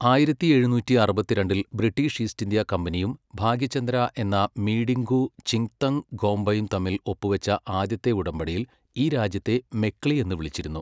ആയിരത്തി എഴുന്നൂറ്റി അറുപത്തിരണ്ടിൽ ബ്രിട്ടീഷ് ഈസ്റ്റ് ഇന്ത്യാ കമ്പനിയും ഭാഗ്യചന്ദ്ര എന്ന മീഡിംഗു ചിങ്തംഗ് ഖോംബയും തമ്മിൽ ഒപ്പുവച്ച ആദ്യത്തെ ഉടമ്പടിയിൽ ഈ രാജ്യത്തെ മെക്ലി എന്ന് വിളിച്ചിരുന്നു.